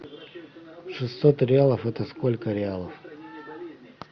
шестьсот реалов это сколько реалов